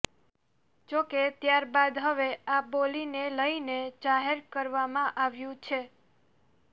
જો કે ત્યારબાદ હવે આ બોલીને લઇને જાહેર કરવામાં આવ્યું છે